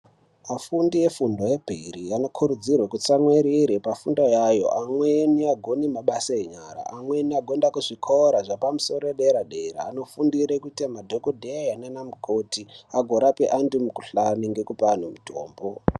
Afundi efundo yepiri anokurudzirwe kuti kutsamwirire pafundo yayo. Amweni agone mabasa enyara, amweni agoinda kuzvikora zvepamusoro yedera-dera. Anofundire kuite madhokodheya naana mukoti agorape antu mukuhlani ngekupe anu mitombo.